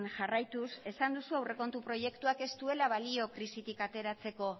jarraituz esan duzu aurrekontu proiektuak ez duela balio krisitik ateratzeko